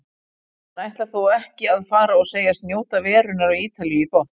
Hann ætlar þó ekki að fara og segist njóta verunnar á Ítalíu í botn.